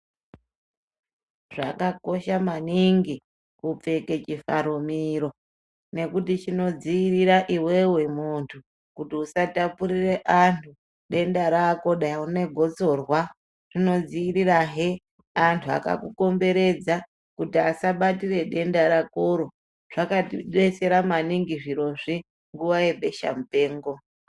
Zvakakosha maningi kupfeke chivharo miro nekuti chinodziirira iwewe muntu kuti usatapurire anhu denda rako dani unegotsorwa rinodziirirahe vanhu vakakukomberedza kuti asabatire denda rakoro zvakadetsera maningi zvirozvi nguwa yebesha mupengo.